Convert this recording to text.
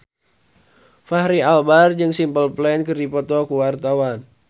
Fachri Albar jeung Simple Plan keur dipoto ku wartawan